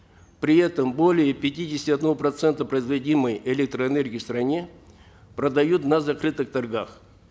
при этом более пятидесяти одного процента производимой электроэнергии в стране продают на закрытых торгах